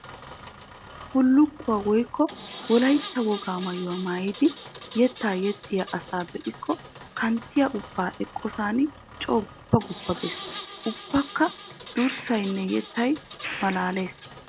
Bullukkuwa woykko wolaytta wogaa maayuwa maayiddi yetta yexxiya asaa be'ikko kanttiya ubba eqqosan coo guppa guppa geesi! Ubbakka durssayinne yettay malaalles.